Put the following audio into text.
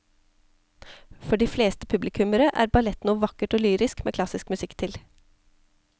For de fleste publikummere er ballett noe vakkert og lyrisk med klassisk musikk til.